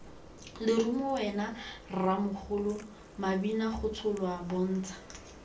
lerumo wena rremogolo mabinagotsholwa bontsha